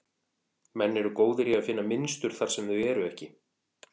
Menn eru góðir í að finna mynstur þar sem þau eru ekki.